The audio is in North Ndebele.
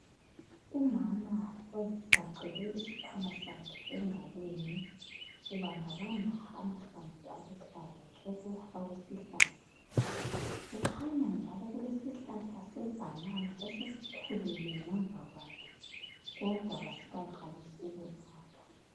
Umama ozigaqele isikwama sakhe egalweni. Ubambabamba amahlamvu aluhlaza tshoko awesihlahla. Kukhanya njalo kule sihlahla sebhanana esesikhulile ngemva kwakhe, kodwa kasikaqalisi ukuzala.